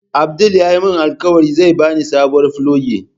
Abdul yayi min alkawari zai bani sabuwar fulogi.